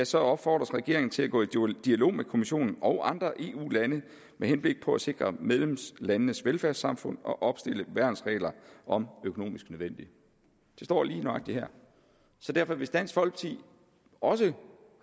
så opfordres regeringen til at gå i dialog med kommissionen og andre eu lande med henblik på at sikre medlemslandenes velfærdssamfund og opstille værnsregler om økonomisk nødvendigt det står lige nøjagtig her så derfor hvis dansk folkeparti også